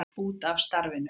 Út af starfinu.